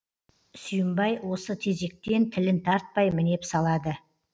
сүйімбай осы тезектен тілін тартпай мінеп салады